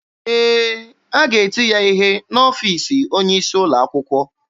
Ee, a ga-eti ya ihe n'ọfiisi onye isi ụlọ akwụkwọ.